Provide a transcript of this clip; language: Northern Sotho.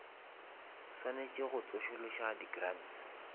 swanetše go tsošološa di grants